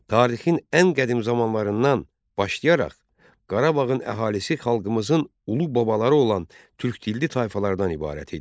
Tarixin ən qədim zamanlarından başlayaraq Qarabağın əhalisi xalqımızın ulu babaları olan türk dilli tayfalardan ibarət idi.